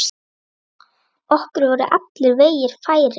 Okkur voru allir vegir færir.